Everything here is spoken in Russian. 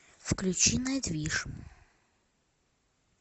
включи найтвиш